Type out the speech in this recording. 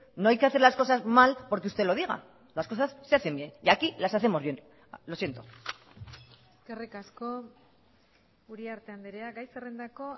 no hay que hacer las cosas mal porque usted lo diga las cosas se hacen bien y aquí las hacemos bien lo siento eskerrik asko uriarte andrea gai zerrendako